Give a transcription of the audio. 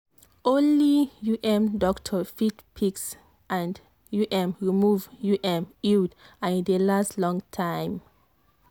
only um doctor fit fix and um remove um iud and e dey last long time.